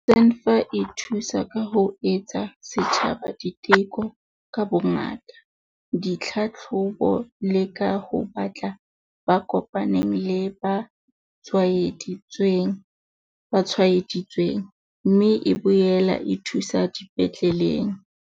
E thusa ka ho etsa setjhaba diteko ka bongata, ditlhahlobo le ka ho batla ba kopaneng le ba tshwaedi tsweng, mme e boela e thuso dipetleleng.